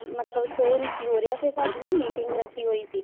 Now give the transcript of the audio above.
ਮਤਲਬ show ਨੀ ਸੀ ਹੋ ਰਿਹਾ ਫ਼ੇਰ ਸਾਡੀ ਨਾ meeting ਰੱਖੀ ਹੋਈ ਸੀ